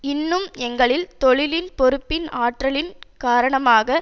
இன்னும் எங்களில் தொழிலின் பொறுப்பின் ஆற்றிலின் காரணமாக